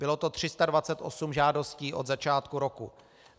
Bylo to 328 žádostí od začátku roku.